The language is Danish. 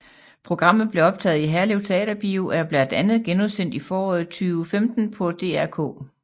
Programmet blev optaget i Herlev Teaterbio og er blandt andet genudsendt i foråret 2015 på DR K